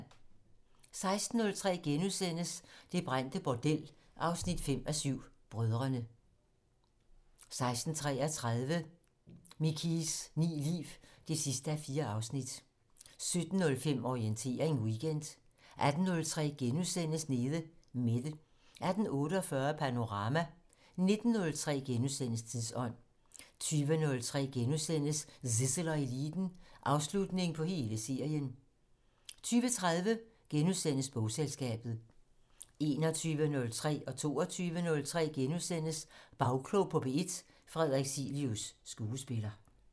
16:03: Det brændte bordel 5:7 - Brødrene * 16:33: Mikies ni liv 4:4 17:05: Orientering Weekend 18:03: Nede Mette * 18:48: Panorama 19:03: Tidsånd * 20:03: Zissel og Eliten: Afslutning på hele serien * 20:30: Bogselskabet * 21:03: Bagklog på P1: Frederik Cilius, skuespiller * 22:03: Bagklog på P1: Frederik Cilius, skuespiller *